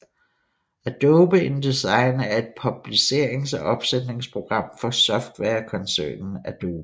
Adobe InDesign er et publicerings og opsætningsprogram fra softwarekoncernen Adobe